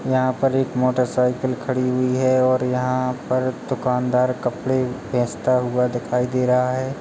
यहाँ पर एक मोटरसाइकिल खड़ी हुई है और यहाँ दुकानदार कपड़े बेचता हुआ दिखाई दे रहा है।